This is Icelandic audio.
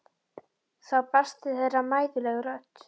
Þá barst til þeirra mæðuleg rödd